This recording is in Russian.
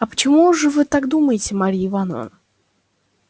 а почему же вы так думаете марья ивановна